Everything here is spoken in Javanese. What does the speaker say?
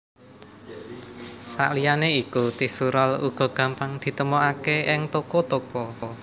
Saliyané iku tisu rol uga gampang ditemokaké ing toko toko